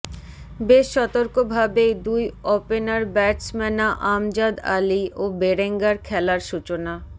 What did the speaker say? বেশ সতর্কভাবেই দুই অপেনার ব্যাটসম্যনা আমজাদ আলী ও বেরেঙ্গার খেলার সূচনা